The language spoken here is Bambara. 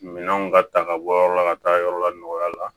Minɛnw ka ta ka bɔ yɔrɔ la ka taa yɔrɔ la nɔgɔya la